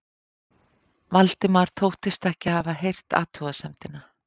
Valdimar þóttist ekki hafa heyrt athugasemdina.